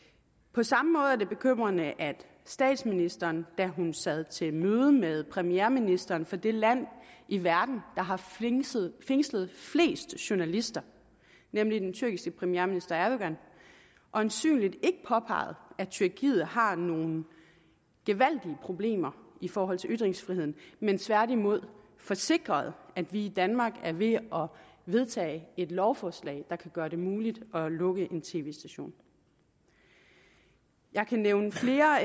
på samme måde er det bekymrende at statsministeren da hun sad til møde med premierministeren for det land i verden der har fængslet fængslet flest journalister nemlig den tyrkiske premierminister erdogan øjensynligt ikke påpegede at tyrkiet har nogle gevaldige problemer i forhold til ytringsfriheden men tværtimod forsikrede at vi i danmark er ved at vedtage et lovforslag der kan gøre det muligt at lukke en tv station jeg kan nævne flere